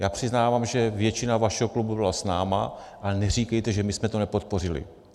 Já přiznávám, že většina vašeho klubu byla s námi, ale neříkejte, že my jsme to nepodpořili.